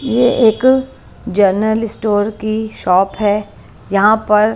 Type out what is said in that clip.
ये एक general store की शॉप है यहां पर--